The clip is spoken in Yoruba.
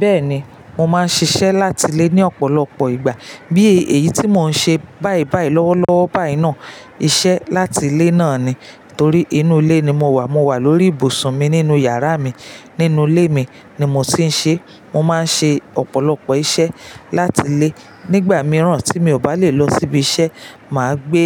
Bẹ́ẹ̀ni, mo máa ń ṣiṣẹ́ láti ilé ní ọ̀pọ̀lọpọ̀ ìgbà. Bí èyí tí mò ń ṣe bàí bàí lọ́wọ́lọ́wọ́ báyìí náà, iṣẹ́ láti ilé náà ni. Torí inú ilé ni mo wà. Mo wà lórí ibùsùn mi nínú yàrá mi. Nínú ilé mi ni mo ti ń ṣe. Mo máa ń ṣe ọ̀pọ̀lọpọ̀ iṣẹ́ láti ilé. Nígbà mìíràn tí mi ò bá lè lọ síbi iṣẹ́, mà á gbé